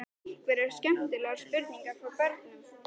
Freyja Haraldsdóttir: Einhverjar skemmtilegar spurningar frá börnum?